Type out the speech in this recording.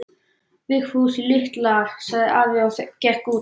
Vigfús litla, sagði afi og gekk út.